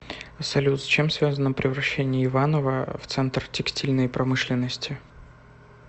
салют с чем связано превращение иванова в центр текстильной промышленности